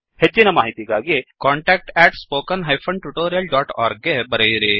ಹೆಚ್ಚಿನ ಮಾಹಿತಿಗಾಗಿ contactspoken tutorialorg ಗೆ ಬರೆಯಿರಿ